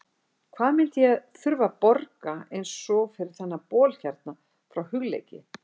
Hvað myndi ég þurfa að borga eins og fyrir þennan bol hérna frá Hugleiki?